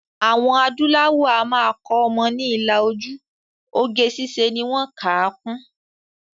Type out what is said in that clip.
Àwọn adúláwò a máa kọ́ ọmọ ni ilà ojú, oge ṣíṣe ni wọ́n kà á kún